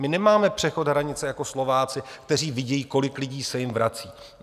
My nemáme přechod hranice jako Slováci, kteří vidí, kolik lidí se jim vrací.